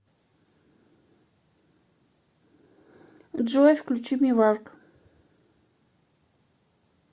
джой включи миварк